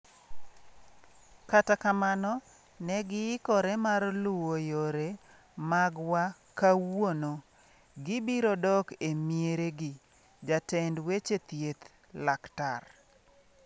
Kata kamano, ne giikore mar luwo yore magwa Kawuono, gibiro dok e mieregi'', jatend weche thieth, Laktar